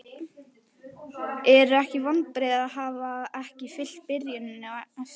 Eru ekki vonbrigði að hafa ekki fylgt byrjuninni eftir?